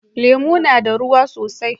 Lemu na da ruwa sosai.